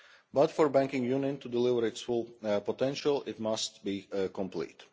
But for Banking Union to deliver its full potential it must be complete.